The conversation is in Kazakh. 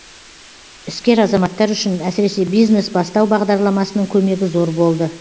іскер азаматтар үшін әсіресе бизнес бастау бағдарламасының көмегі зор болды